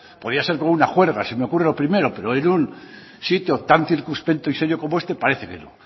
podía ser con un juerga se me ocurre lo primero pero en un sitio tan circunspecto y serio como este parece que no